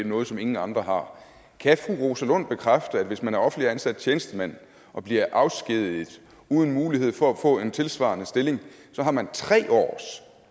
noget som ingen andre har kan fru rosa lund bekræfte at hvis man er offentligt ansat tjenestemand og bliver afskediget uden mulighed for at få en tilsvarende stilling har man tre års